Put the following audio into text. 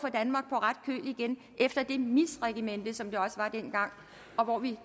ret køl igen efter det misregimente som det også var dengang og vi